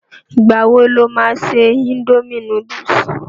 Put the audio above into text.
Ìgbà wo lo ma ṣe indomie núdúsì?